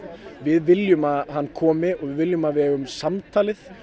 við viljum að hann komi og við viljum að við eigum samtalið